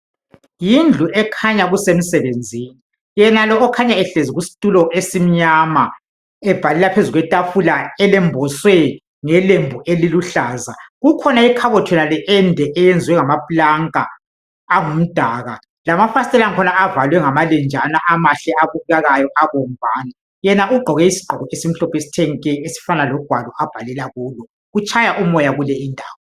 Yindlu ekhanya kusemsebenzini yenalo okhanya ehlezi kustulo esimnyama ebhalela phezu kwetafula elemboswe ngelembu eliluhlaza kukhona ikhabothi yonale ende enziwe ngamaplanka angumdaka lamafasitela akhona avalwe ngamalenjana amahle abukekayo abomvana yena ugqoke isigqoko esimhlophe esithe nke esifana logwalo abhalela kulo kutshaya umoya kuleyi indawo